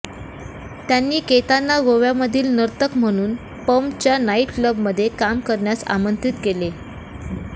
त्यांनी केतांना गोव्यामधील नर्तक म्हणून पर्मच्या नाइट क्लबमध्ये काम करण्यास आमंत्रित केले